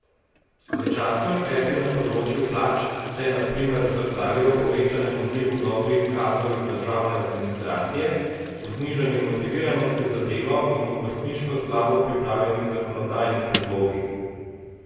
Začasni ukrepi na področju plač se, na primer, zrcalijo v povečanem odlivu dobrih kadrov iz državne administracije, v znižanju motiviranosti za delo in v obrtniško slabo pripravljenih zakonodajnih predlogih.